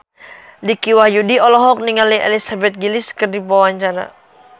Dicky Wahyudi olohok ningali Elizabeth Gillies keur diwawancara